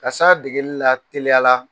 K'a se a degelila teliya la